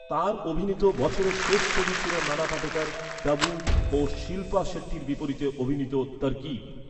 তাঁর অভিনীত বছরের শেষ ছবি ছিল নানা পাটেকর, টাবু ও শিল্পা শেট্টির বিপরীতে অভিনীত ‘তরকিব’।